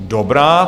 Dobrá.